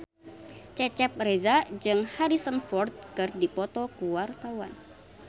Cecep Reza jeung Harrison Ford keur dipoto ku wartawan